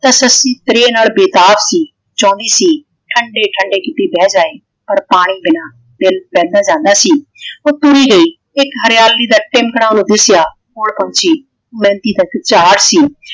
ਤੇ ਸੱਸੀ ਤ੍ਰੇਹ ਨਾਲ ਬੇਤਾਬ ਸੀ। ਚਾਉਂਦੀ ਸੀ ਠੰਡੇ ਠੰਡੇ ਕਿੱਤੇ ਬਹਿ ਜਾਵੇ ।ਪਰ ਪਾਣੀ ਬਿਨਾਂ ਦਿਲ ਬਹਿੰਦਾ ਜਾਂਦਾ ਸੀ ਉਹ ਤੁਰੀ ਗਈ ਇੱਕ ਹਰਿਆਲੀ ਦਾ ਟਿਮਕਣਾ ਓਹਨੂੰ ਦਿੱਸਿਆ ਤੈ ਕੋਲ ਪਹੁੰਚੀ ਤੇ ਮਹਿੰਦੀ ਦਾ ਟੁਚਾਰ ਸੀ।